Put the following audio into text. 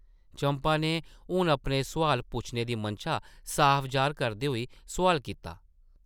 चंपा नै हून अपने सोआल पुच्छने दी मनशा साफ जाह्र करदे होई सोआल कीता,